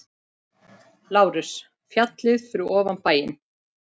LÁRUS: Fjallið fyrir ofan bæinn.